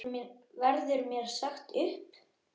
Verður mér sagt upp?